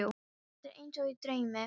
Þetta er eins og í draumi.